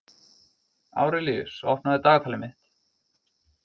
Árelíus, opnaðu dagatalið mitt.